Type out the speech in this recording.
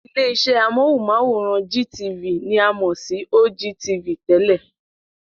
Ilé-iṣẹ́ amóhùnmáwòrán GTV ni a mọ̀ sí OGTV tẹ́lẹ̀.